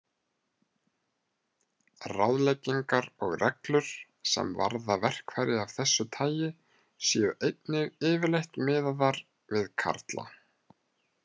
Ráðleggingar og reglur, sem varða verkfæri af þessu tagi, séu einnig yfirleitt miðaðar við karla.